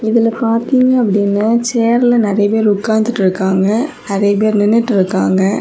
இதுல பார்த்தீங்க அப்படின்னு சேர்ல நிறைய பேர் உக்காந்து இருக்காங்க நிறைய பேர் நின்னுட்டு இருக்காங்க.